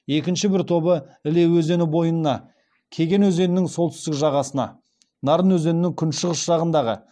екінші бір тобы іле өзені бойына кеген өзенінің солтүстік жағасына нарын өзенінің күншығыс жағынадағы